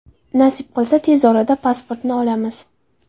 Nasib qilsa tez orada pasportni olamiz.